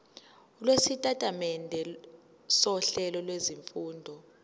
lwesitatimende sohlelo lwezifundo